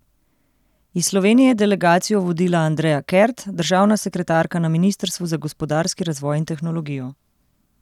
Iz Slovenije je delegacijo vodila Andreja Kert, državna sekretarka na ministrstvu za gospodarski razvoj in tehnologijo.